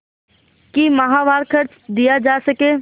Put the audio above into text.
कि माहवार खर्च दिया जा सके